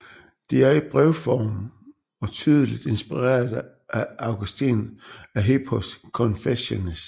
Det er i brevform og tydeligt inspireret af Augustin af Hippos Confessiones